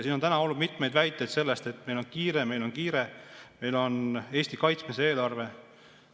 Siin on täna olnud mitmeid väiteid, et meil on kiire, meil on kiire, meil on Eesti kaitsmise eelarve.